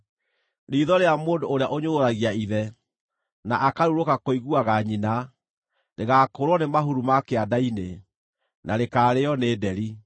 “Riitho rĩa mũndũ ũrĩa ũnyũrũragia ithe, na akarurũka kũiguaga nyina, rĩgaakũũrwo nĩ mahuru ma kĩanda-inĩ, na rĩkaarĩĩo nĩ nderi.